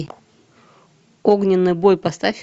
огненный бой поставь